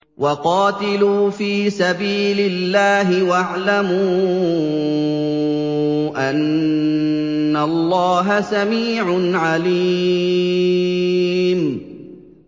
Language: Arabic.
وَقَاتِلُوا فِي سَبِيلِ اللَّهِ وَاعْلَمُوا أَنَّ اللَّهَ سَمِيعٌ عَلِيمٌ